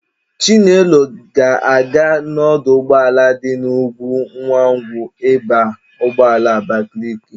Chinelo ga-aga n'ọdụ ụgbọala dị n'Ukwunwangwu ịba ụgbọala Abakaliki.